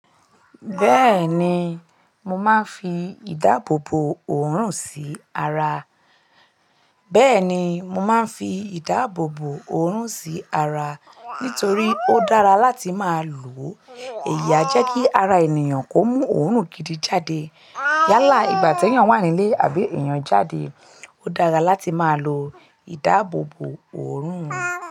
Bẹ́ẹ̀ni mo máa ń fi ìdáàbòbò òórùn sí ara. Bẹ́ẹ̀ni mo máa ń fi ìdáàbòbò òórùn sí ara nítorí ó dára láti máa lò. Èèyà jẹ́ kí ara ènìyàn kó mú òórùn gidi jáde. Yálà ìgbà tí ènìyàn wà nílé àbí èèyàn jáde, ó dára láti máa lo ìdáàbòbò òórùn.